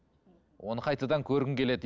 оны қайтадан көргің келеді